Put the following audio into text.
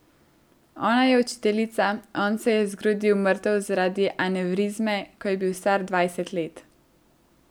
Ona je učiteljica, on se je zgrudil mrtev zaradi anevrizme, ko je bil star dvajset let.